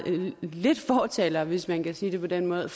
lidt fortalere for hvis man kan sige det på den måde